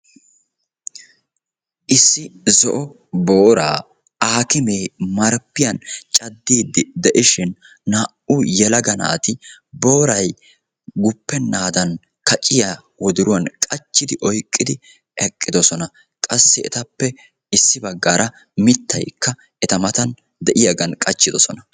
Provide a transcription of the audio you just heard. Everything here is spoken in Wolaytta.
Issi zo'o boora aakimme marppiyan caddidi de'ishin naati booray guppenna mala giidi oyqqidosonna qassikka boora mittan qachchidosonna